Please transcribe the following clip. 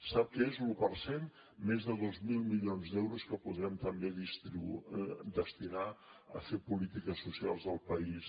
sap què és l’un per cent més de dos mil milions d’euros que podrem també destinar a fer polítiques socials al país